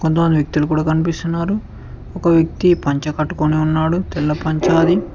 వ్యక్తులు కూడా కనిపిస్తున్నారు ఒక వ్యక్తి పంచ కట్టుకొని ఉన్నాడు తెల్ల పంచ్ అది.